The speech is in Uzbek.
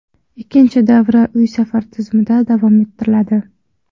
Ikkinchi davra uy-safar tizimida davom ettiriladi.